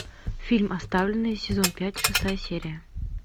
фильм оставленные сезон пять шестая серия